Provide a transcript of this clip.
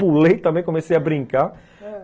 Pulei também, comecei a brincar. ãh.